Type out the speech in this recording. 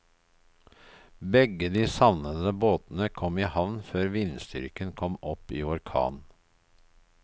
Begge de savnede båtene kom i havn før vindstyrken kom opp i orkan.